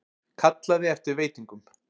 Kallaði eftir veitingum.